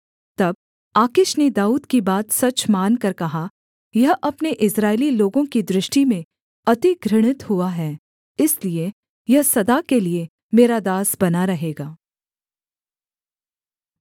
तब आकीश ने दाऊद की बात सच मानकर कहा यह अपने इस्राएली लोगों की दृष्टि में अति घृणित हुआ है इसलिए यह सदा के लिये मेरा दास बना रहेगा